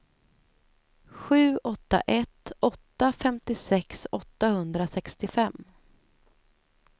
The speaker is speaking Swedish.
sju åtta ett åtta femtiosex åttahundrasextiofem